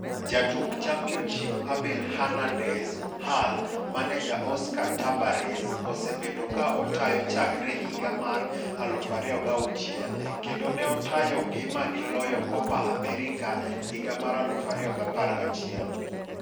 Jatuk Championship: Abel Hernandez (Hull) Maneja: Oscar Tabarez osebedo ka otayokochakre higa mar 2006 kendo ne otayogi magi loyo Copa America higa mar 2011.